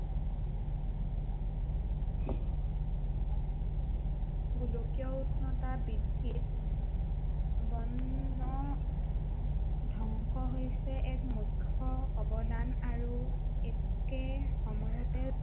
গোলকীয় উষ্ণতা বৃদ্ধিত বন ধ্বংস হৈছে এক মুখ্য় অৱদান আৰু একে সময়তে